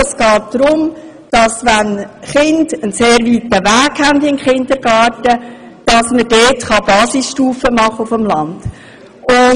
Es geht darum, dass man auf dem Land, wo die Kinder einen sehr weiten Weg in den Kindergarten haben, Basisstufen einführen kann.